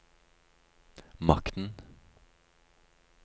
makten